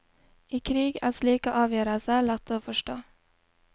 I krig er slike avgjørelser lette å forstå.